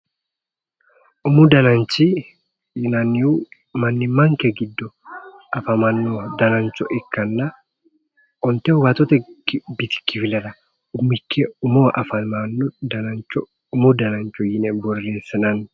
Umu dananchi yinannihu mannimmanke giddo afamanno danancho ikkanna onte waaxote bisi kifilera umikki umoho afamanno danancho umu danancho yine borreessinanni